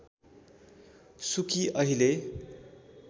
सुकी अहिले